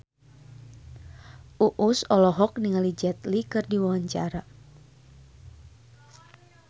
Uus olohok ningali Jet Li keur diwawancara